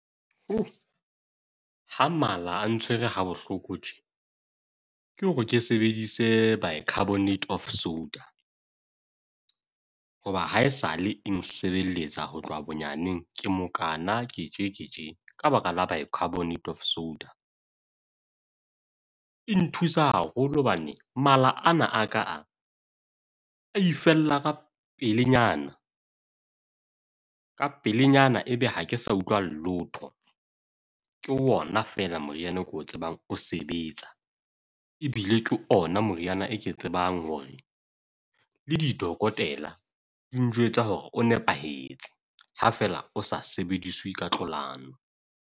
Ha mala a ntshwere ha bohloko tje ke hore ke sebedise bicarbonate of soda, hoba haesale nsebelletsa ho tloha bonyaneng. Ke mokaana, ke tje ke tje ka baka la bicarbonate of soda. E nthusa haholo hobane mala ana a ka a a ifella ka pelenyana. Ka pelenyana ebe ha ke sa utlwa leoto, Ke ona feela moriana o ko tsebang o sebetsa e bile ke ona moriana e ke tsebang hore le didokotela di njwetsa hore o nepahetse. Ha fela o sa sebediswe ka .